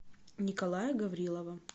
николая гаврилова